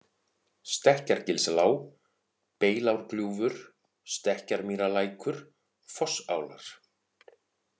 Stekkjargilslág, Beilárgljúfur, Stekkjarmýrarlækur, Fossálar